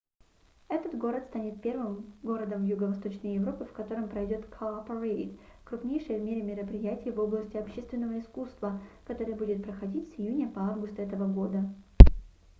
этот город станет первым городом юго-восточной европы в котором пройдёт cowparade крупнейшее в мире мероприятие в области общественного искусства которое будет проходить с июня по август этого года